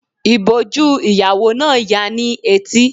Ìbòjú ìyàwó náà ya ni etí.